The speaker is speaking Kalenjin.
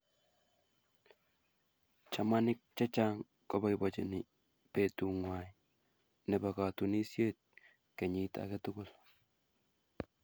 Chamaniik chechang koboibochini betung'wai nebo katunisyet kenyiit age tugul.